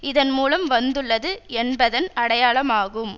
இதன் மூலம் வந்துள்ளது என்பதன் அடையாளமாகும்